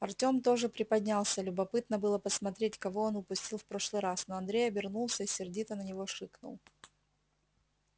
артём тоже приподнялся любопытно было посмотреть кого он упустил в прошлый раз но андрей обернулся и сердито на него шикнул